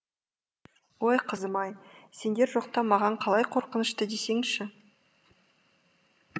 ой қызым ай сендер жоқта маған қалай қорқынышты десеңші